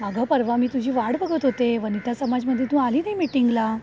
अगं परवा मी तुझी वाट बघत होते, वनिता समाजमध्ये, तु आली नाही मिटिंगला.